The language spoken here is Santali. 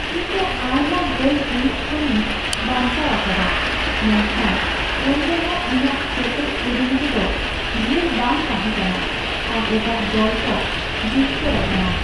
ᱤᱧ ᱫᱚ ᱟᱭᱢᱟ ᱜᱳᱞ ᱦᱩᱭᱩᱜ ᱠᱷᱚᱱᱤᱧ ᱵᱟᱧᱪᱟᱣ ᱟᱠᱟᱫᱟ ᱢᱮᱱᱠᱷᱟᱱ ᱮᱱᱨᱮᱦᱚᱸ, ᱤᱧᱟᱜ ᱠᱮᱴᱮᱡ ᱠᱩᱨᱩᱢᱩᱴᱩ ᱫᱚ ᱰᱷᱮᱨ ᱵᱟᱝ ᱛᱟᱦᱮᱠᱟᱱᱟ ᱟᱨ ᱮᱴᱟᱜ ᱫᱚᱞ ᱠᱚ ᱡᱤᱛᱠᱟᱹᱨ ᱟᱠᱟᱱᱟ ᱾